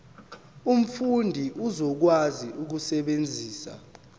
umfundi uzokwazi ukusebenzisa